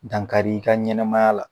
Dankar'i ka ɲɛnɛmaya la